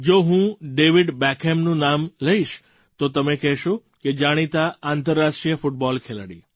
જો હું ડેવિડ બૅકહામનું નામ લઈશ તો તમે કહશો કે જાણીતા આંતરરાષ્ટ્રીય ફૂટબૉલ ખેલાડી